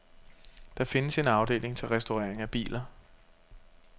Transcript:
Der findes en afdeling til restaurering af biler.